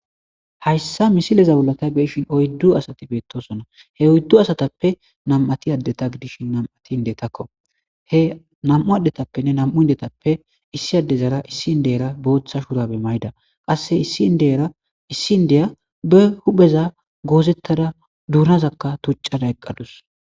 Hayssa misilezabulatay beeshin oyddu asati beettosona he oyddu asatappe nam,ati addeta gidish nam7ati indetakko he nam,u addetappenne nam7u indetappe issi addezara issi n deyera booththa shuurabe may7ida qasse issi ndeyara issi ndeya be hupheza goozettada duunazakka tuccada eqqadus.